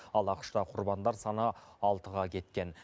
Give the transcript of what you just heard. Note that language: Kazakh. ал ақш та құрбандар саны алтыға кеткен